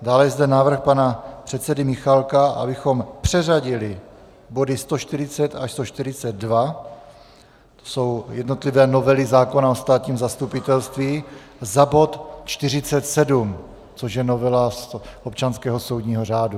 Dále je zde návrh pana předsedy Michálka, abychom přeřadili body 140 až 142, jsou to jednotlivé novely zákona o státním zastupitelství, za bod 47, což je novela občanského soudního řádu.